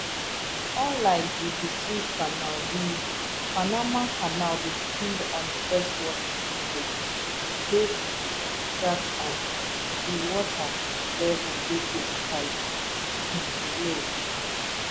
unlike di di suez canal di panama canal dey feed on freshwater lake lake gatn and di water level dey critically um low